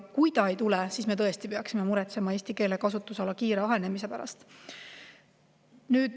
Kui ei tule, siis me tõesti peaksime muretsema eesti keele kasutusala kiire ahenemise pärast.